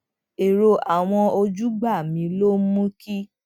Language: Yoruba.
èrò àwọn ojúgbà mi ló mú kí n